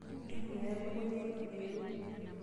Ntumia elukunya ino ero.